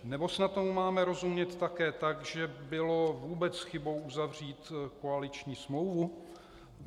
Nebo snad tomu máme rozumět také tak, že bylo vůbec chybou uzavřít koaliční smlouvu?